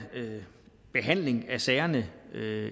behandling af sagerne